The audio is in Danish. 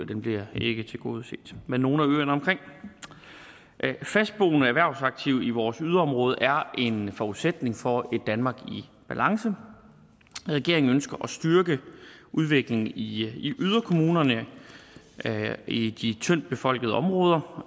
den bliver ikke tilgodeset men nogle af øerne omkring fastboende erhvervsaktive i vores yderområder er en forudsætning for et danmark i balance regeringen ønsker at styrke udviklingen i i yderkommunerne i de tyndt befolkede områder